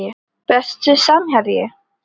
Besti samherji?